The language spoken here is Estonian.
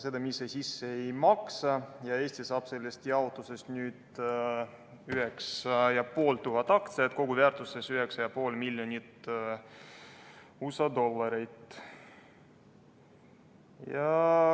Seda me ise sisse ei maksa ja Eesti saab sellest jaotusest 9500 aktsiat koguväärtuses 9,5 miljonit USA dollarit.